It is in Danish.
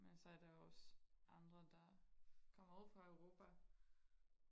men så er der også andre der kommer uden for Europa